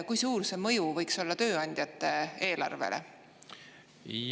Kui suur see mõju võiks olla tööandjate eelarvele?